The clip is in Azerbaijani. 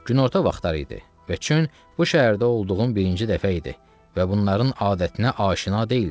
Günorta vaxtları idi və çün bu şəhərdə olduğum birinci dəfə idi və bunların adətinə aşina deyildim.